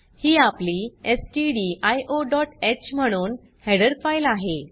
ही आपली stdioह म्हणून हेडर फाइल आहे